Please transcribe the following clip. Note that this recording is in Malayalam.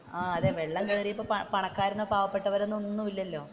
ആഹ് അതെ വെള്ളം കയറിയപ്പോൾ പണക്കാർ പാവപ്പെട്ടവർ എന്നൊന്നും ഇല്ലാലോ.